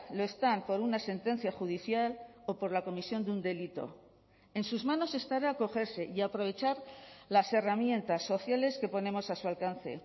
lo están por una sentencia judicial o por la comisión de un delito en sus manos estará acogerse y aprovechar las herramientas sociales que ponemos a su alcance